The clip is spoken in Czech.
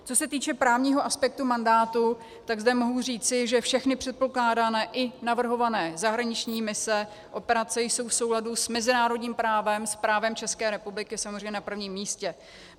Co se týče právního aspektu mandátu, tak zde mohu říci, že všechny předpokládané i navrhované zahraniční mise, operace jsou v souladu s mezinárodním právem, s právem České republiky samozřejmě na prvním místě.